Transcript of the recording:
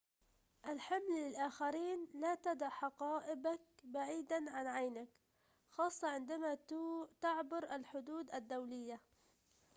الحمل للآخرين لا تدع حقائبك بعيداً عن عينيك خاصة عندما تعبر الحدود الدولية